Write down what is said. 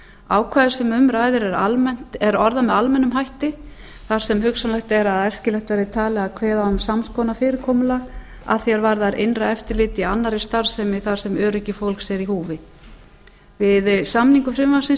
ákvæðið sem um ræðir er orðað með almennum hætti þar sem hugsanlegt er að æskilegt verði talið að kveða á um sams konar fyrirkomulag að því er varðar innra eftirlit í annarri starfsemi þar sem öryggi fólks er í húsi við samningu frumvarpsins